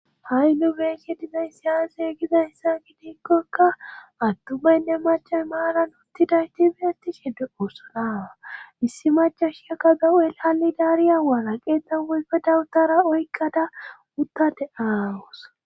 ha7i nu beeshe dinay si yaase giza hessa gidiikkokka attu baynne machan maalan uttidayti fihesti sheddu oossonaawa issi machashiaka da7ool haali daariya waalaqe xan oyfe dawutara oykqada uttade aawosa